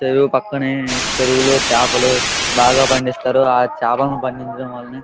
చెరువు పక్కనే చెరువులో చాపలు బాగా పండిస్తారు ఆ చాపలు పండించడం వల్లనే --